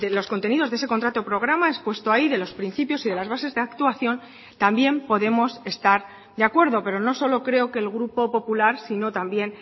los contenidos de ese contrato programa expuesto ahí de los principios y de las bases de actuación también podemos estar de acuerdo pero no solo creo que el grupo popular sino también